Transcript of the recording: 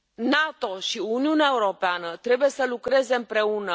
NATO și Uniunea Europeană trebuie să lucreze împreună.